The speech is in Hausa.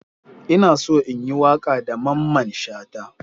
Ina so in yi waka da mamman Shata.